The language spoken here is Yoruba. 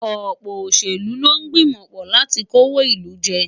Ọ̀pọ̀ òṣèlú ló ń gbìmọ̀ pọ̀ láti kówó ìlú jẹ.